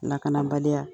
Lakanabaliya